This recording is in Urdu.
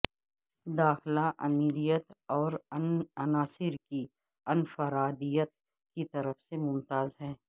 داخلہ امیریت اور عناصر کی انفرادیت کی طرف سے ممتاز ہے